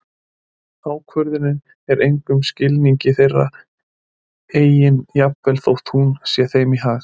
Ákvörðunin er í engum skilningi þeirra eigin jafnvel þótt hún sé þeim í hag.